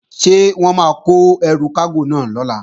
Ṣé wọ́n máa kó ẹrù kágò náà lọ̀la?